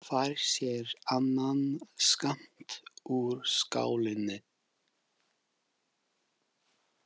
Fær sér annan skammt úr skálinni.